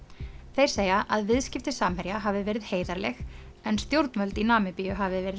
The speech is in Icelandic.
þeir segja að viðskipti Samherja hafi verið heiðarleg en stjórnvöld í Namibíu hafi verið